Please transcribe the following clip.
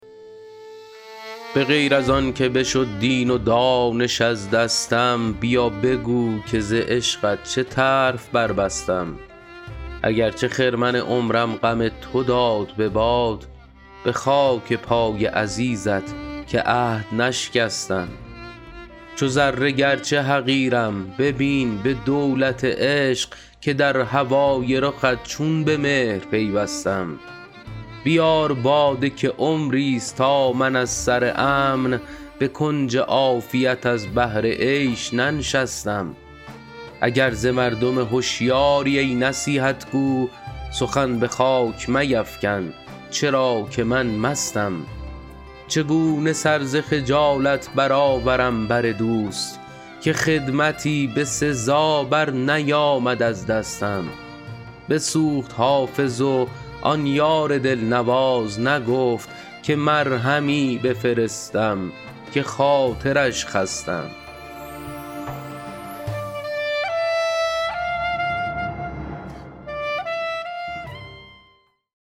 به غیر از آن که بشد دین و دانش از دستم بیا بگو که ز عشقت چه طرف بربستم اگر چه خرمن عمرم غم تو داد به باد به خاک پای عزیزت که عهد نشکستم چو ذره گرچه حقیرم ببین به دولت عشق که در هوای رخت چون به مهر پیوستم بیار باده که عمریست تا من از سر امن به کنج عافیت از بهر عیش ننشستم اگر ز مردم هشیاری ای نصیحت گو سخن به خاک میفکن چرا که من مستم چگونه سر ز خجالت برآورم بر دوست که خدمتی به سزا برنیامد از دستم بسوخت حافظ و آن یار دلنواز نگفت که مرهمی بفرستم که خاطرش خستم